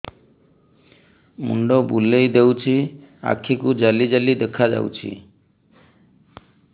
ମୁଣ୍ଡ ବୁଲେଇ ଦେଉଛି ଆଖି କୁ ଜାଲି ଜାଲି ଦେଖା ଯାଉଛି